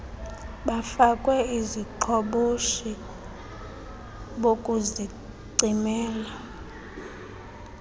bafakwe iziqhoboshi bokuzicimela